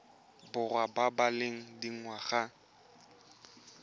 borwa ba ba leng dingwaga